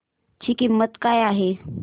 ची किंमत काय आहे